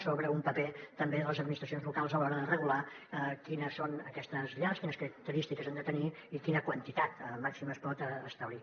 sobre un paper també de les administracions locals a l’hora de regular quines són aquestes llars quines característiques han de tenir i quina quantitat màxima es pot establir